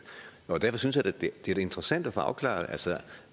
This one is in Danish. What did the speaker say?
derfor synes jeg da det er interessant at få afklaret altså